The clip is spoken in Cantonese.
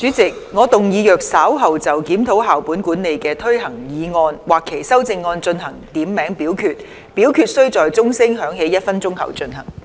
主席，我動議若稍後就"檢討校本管理的推行"所提出的議案或其修正案進行點名表決，表決須在鐘聲響起1分鐘後進行。